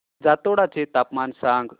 जातोडा चे तापमान सांग